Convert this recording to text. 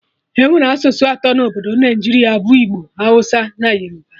Enwere asụsụ atọ na Obodo Naijiria bụ Igbo, Hausa na Yoruba